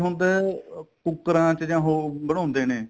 ਹੁੰਦਾ ਕੂਕਰਾ ਚ ਜਾਂ ਉਹ ਬਣਾਉਂਦੇ ਨੇ